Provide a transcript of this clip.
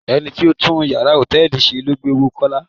Ẹni tó ń tún yàrá hòtẹ́ẹ̀lì ṣe ló gbé owó Kọ́lá.